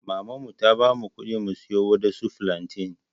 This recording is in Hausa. maman mu ta bamu kuɗi mu siyo waɗansu flantain.